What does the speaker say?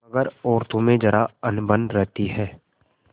मगर औरतों में जरा अनबन रहती है